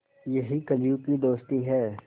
यही कलियुग की दोस्ती है